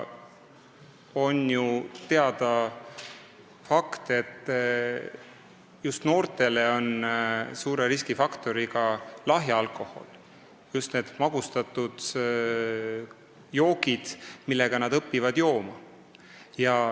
On teada fakt, et just noortele on lahja alkohol suur riskifaktor, magustatud jookide abil nad õpivad jooma.